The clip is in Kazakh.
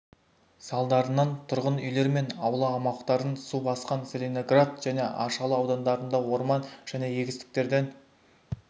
салдарынан тұрғын үйлер мен аула аумақтарын су басқан целиноград және аршалы аудандарында орман және егістіктерден